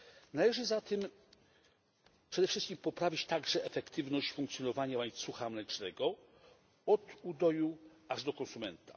Należy zatem przede wszystkim poprawić efektywność funkcjonowania łańcucha mlecznego od udoju aż do konsumenta.